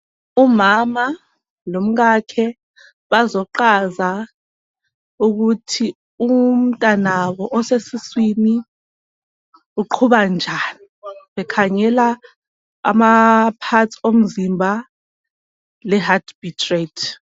Umama lomkakhe bazoqhaza ukuthi umntanabo osesiswini uqhuba njani bekhangela ama parts omzimba le heart beat rate.